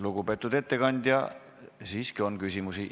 Lugupeetud ettekandja, teile on siiski küsimusi.